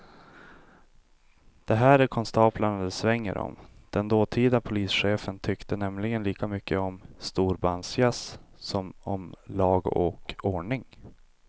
Det här är konstaplar det svänger om, den dåtida polischefen tyckte nämligen lika mycket om storbandsjazz som om lag och ordning.